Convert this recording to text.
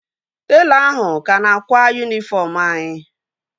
Telọ ahụ ka na-akwa yunifọm anyị